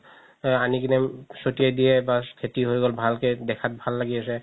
আনি কিনে চতিয়া দিয়ে বা খেতি হয় গ'ল ভালকে দেখাত ভাল লাগি আছে